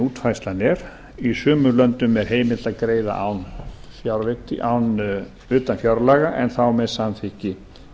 útfærslan er í sumum löndum er heimilt að greiða utan fjárlaga en þá með samþykki